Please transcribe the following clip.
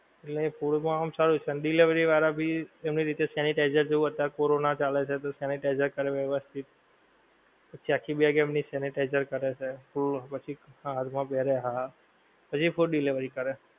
એટલે food માં આમ સારું છે, delivery વાળાં ભી એમની રીતે sanitizer જેવુ અત્યારે કોરોના ચાલે છે તો sanitizer કરે વ્યવસ્થિત. પછી આખી bag એમની sanitizer કરે છે. તો પછી હાથ માં પેરે હા. પછી food delivery કરે.